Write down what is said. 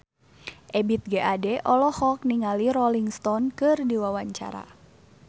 Ebith G. Ade olohok ningali Rolling Stone keur diwawancara